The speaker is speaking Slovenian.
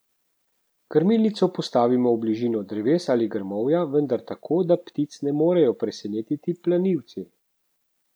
Krmilnico postavimo v bližino dreves ali grmovja, vendar tako, da ptic ne morejo presenetiti plenilci.